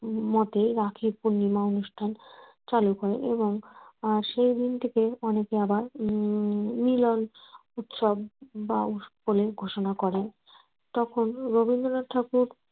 মতে রাখি পূর্ণিমা অনুষ্ঠান চালু করেন এবং আহ সেইদিন থেকে অনেকে আবার উম মিলন উৎসব বা বলে ঘোষণা করেন তখন রবীন্দ্রনাথ ঠাকুর